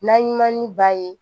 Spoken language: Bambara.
N'a ɲuman ni ba ye